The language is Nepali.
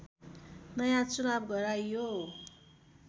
नयाँ चुनाव गराइयो